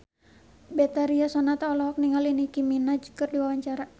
Betharia Sonata olohok ningali Nicky Minaj keur diwawancara